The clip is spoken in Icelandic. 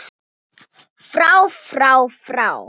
FRÁ FRÁ FRÁ